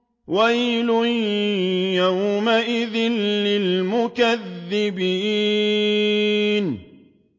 وَيْلٌ يَوْمَئِذٍ لِّلْمُكَذِّبِينَ